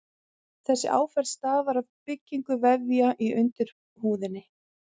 Þessi áferð stafar af byggingu vefja í undirhúðinni.